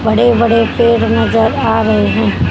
बड़े बड़े पेड़ नजर आ रहे हैं।